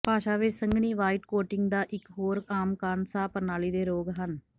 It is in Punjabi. ਭਾਸ਼ਾ ਵਿੱਚ ਸੰਘਣੀ ਵ੍ਹਾਈਟ ਕੋਟਿੰਗ ਦਾ ਇਕ ਹੋਰ ਆਮ ਕਾਰਨ ਸਾਹ ਪ੍ਰਣਾਲੀ ਦੇ ਰੋਗ ਹਨ